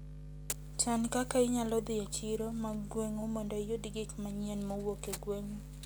Chan kaka inyalo dhi e chiro mag gweng'u mondo iyud gik manyien mowuok e gweng'u.